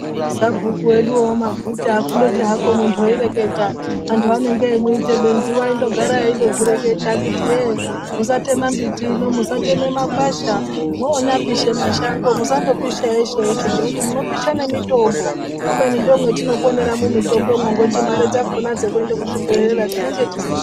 Sabhuku wedu amaguta kundoti hako muntu waireketa antu ange eimuite benzi waindogara eindozvireketa kuti yee musateme miti, musateme makwasha, mwonyapishe mashango musandopisha eshe- eshe ngekuti munopisha nemitombo. Kubeni ndimwo mwatinoponera mumitombomwo ngekuti mare dzakona dzekuende kuzvibhedhlera tinonga tisina.